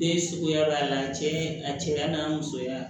Den suguya b'a la cɛ a cɛya n'a musoya